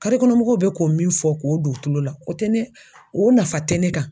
kɔnɔ mɔgɔw be k'o min fɔ k'o don u tulo la o te ne, o nafa te ne kan.